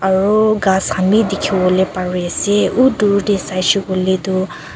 aro ghas khan b dikhi bole pare ase uuo dur de saishe koile tu--